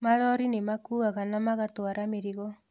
Malori nĩmakũaga na magatwara mĩrigo